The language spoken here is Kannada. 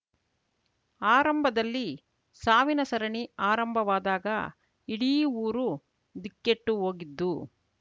ಆರಂಭದಲ್ಲಿ ಸಾವಿನ ಸರಣಿ ಆರಂಭವಾದಾಗ ಇಡೀ ಊರು ದಿಕ್ಕೆಟ್ಟು ಹೋಗಿದ್ದು